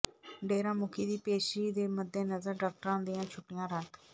ਡੇਰਾ ਮੁਖੀ ਦੀ ਪੇਸ਼ੀ ਦੇ ਮੱਦੇਨਜ਼ਰ ਡਾਕਟਰਾਂ ਦੀਆਂ ਛੁੱਟੀਆਂ ਰੱਦ